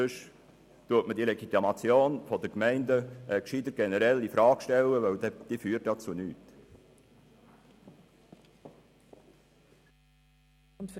Ansonsten stellen wir die Legitimation der Gemeinden besser generell infrage, denn sie führt ja zu nichts.